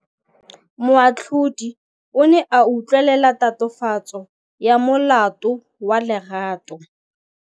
Moatlhodi o ne a utlwelela tatofatsô ya molato wa Lerato.